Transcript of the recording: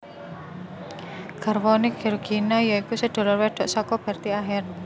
Garwane Georgina ya iku sedulur wedok saka Bertie Ahern